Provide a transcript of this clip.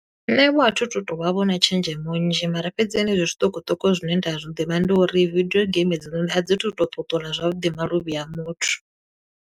Nṋe vho a thu tu to vha vho na tshenzhemo nnzhi, mara fhedzi henezwi zwiṱukuṱuku zwine nda zwi ḓivha ndi uri vidio game hedzononi a dzi tu to ṱuṱula zwavhuḓi maluvhi a muthu.